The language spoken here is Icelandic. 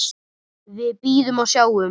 Við bíðum og sjáum.